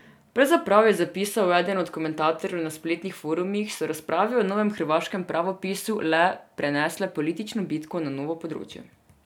Pravzaprav, je zapisal eden od komentatorjev na spletnih forumih, so razprave o novem hrvaškem pravopisu le prenesle politično bitko na novo področje.